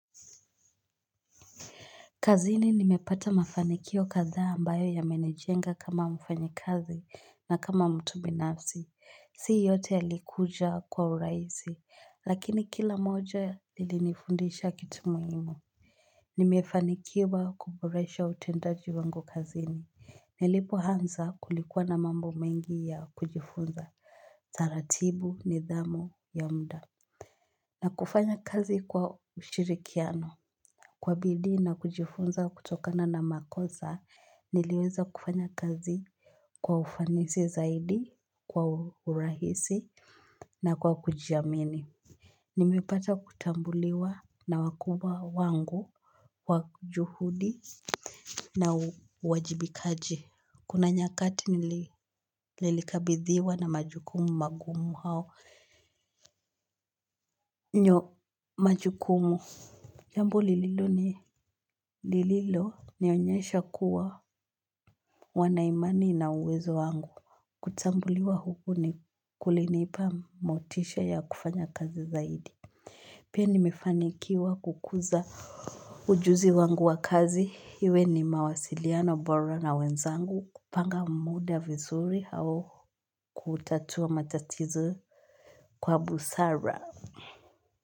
Kazini nimepata mafanikio kadhaa ambayo ya menijenga kama mfanyikazi na kama mtu binafsi, si yote yalikuja kwa urahisi, lakini kila moja ilinifundisha kitumuhimu. Nimefanikiwa kuboresha utendaji wangu kazini, nilipo anza kulikuwa na mambo mengi ya kujifunza, taratibu nidhamu ya muda, na kufanya kazi kwa ushirikiano. Kwa bidii na kujifunza kutokana na makosa, niliweza kufanya kazi kwa ufanisi zaidi, kwa urahisi na kwa kujiamini. Nimepata kutambuliwa na wakubwa wangu, kwa juhudi na uwajibikaji. Kuna nyakati nililikabithiwa na majukumu magumu hao. Nyo majukumu jambo lililo ni lililonionyesha kuwa wanaimani na uwezo wangu. Kutambuliwa huku ni kulinipa motisha ya kufanya kazi zaidi. Pia nimefanikiwa kukuza ujuzi wangu wa kazi iwe ni mawasiliano bora na wenzangu kupanga muda vizuri au kutatua matatizo kwa busara.